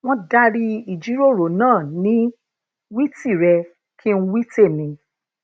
wón dari ìjíròrò náà ni wí tìrẹ kín wí tèmi